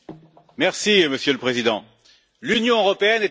Monsieur le Président, l'Union européenne est aux abois.